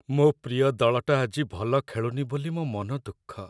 ମୋ' ପ୍ରିୟ ଦଳଟା ଆଜି ଭଲ ଖେଳୁନି ବୋଲି ମୋ' ମନ ଦୁଃଖ ।